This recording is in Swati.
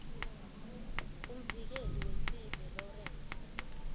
umvikeli wesive lawrence